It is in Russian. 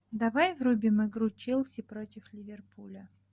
давай врубим игру челси против ливерпуля